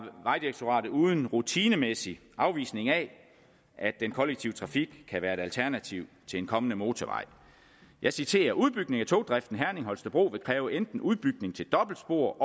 vejdirektoratet uden rutinemæssig afvisning af at den kollektive trafik kan være et alternativ til en kommende motorvej jeg citerer udbygning af togdriften herning holstebro vil kræve enten udbygning til dobbeltspor